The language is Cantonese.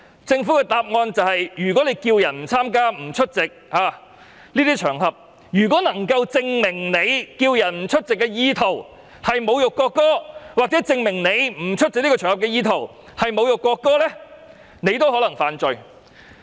政府的答覆是，如果呼籲別人不參與、不出席這些場合，而又能夠證明他呼籲別人不出席的意圖是侮辱國歌，或證明不出席這個場合的意圖是侮辱國歌，便有可能犯罪。